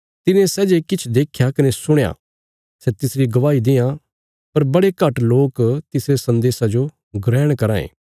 तिने सै जे किछ देख्या कने सुणया सै तिसरी गवाही देआं पर बड़े घट लोक तिसरे सन्देशा जो ग्रहण करां ये